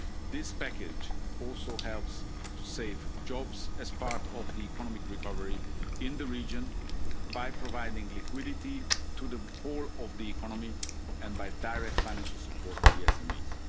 stability. This package also helps to save jobs as part of the economic recovery in the region by providing liquidity to the whole of the economy and by direct financial support